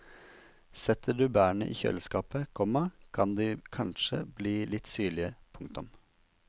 Setter du bærene i kjøleskapet, komma kan de kanskje bli litt syrlige. punktum